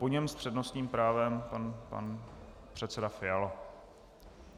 Po něm s přednostním právem pan předseda Fiala.